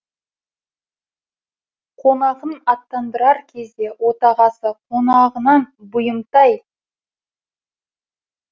қонағын аттандырар кезде отағасы қонағынан бұйымтай